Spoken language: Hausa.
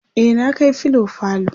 e na Kai filo falo